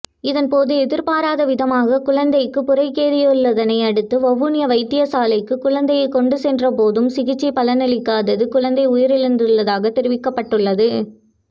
இதன்போது எதிர்பாராத விதமாக குழந்தைக்குப் புரக்கேறியுள்ளதனையடுத்து வவுனியா வைத்தியசாலைக்கு குழந்தையை கொண்டு சென்றபோதும் சிகிச்சை பலனளிக்காது குழந்தை உயிரிழந்துள்ளதாக தெரிவிக்கப்பட்டுள்ளது